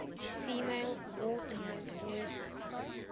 female wartime nurses